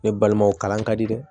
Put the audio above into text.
Ne balimaw kalan ka di dɛ